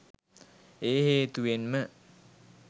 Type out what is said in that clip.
ඒ හේතුවෙන්ම